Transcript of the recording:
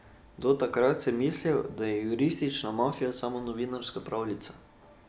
Do takrat sem mislil, da je juristična mafija samo novinarska pravljica.